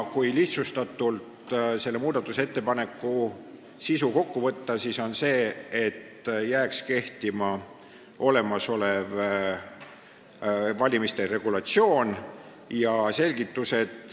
Kui selle muudatusettepaneku sisu lihtsustatult kokku võtta, siis see on see, et jääks kehtima olemasolev valimiste regulatsioon.